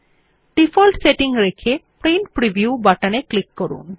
default setting রেখে print preview বাটনে click করুন